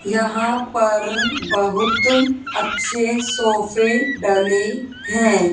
यहां पर बहुत अच्छे सोफे डले हैं।